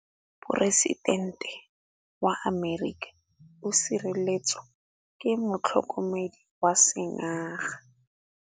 Poresitêntê wa Amerika o sireletswa ke motlhokomedi wa sengaga.